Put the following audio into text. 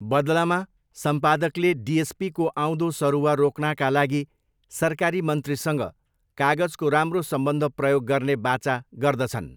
बदलामा, सम्पादकले डिएसपीको आउँदो सरुवा रोक्नाका लागि सरकारी मन्त्रीसँग कागजको राम्रो सम्बन्ध प्रयोग गर्ने वाचा गर्दछन्।